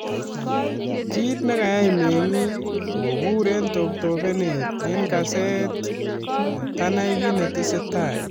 Kit nekayai meng'ik koburen toptopenet en kaset netanai kiit netesetai